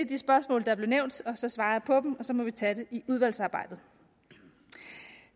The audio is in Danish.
de spørgsmål der blev nævnt så svarer jeg på dem og så må vi tage det i udvalgsarbejdet